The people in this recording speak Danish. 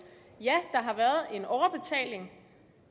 at en overbetaling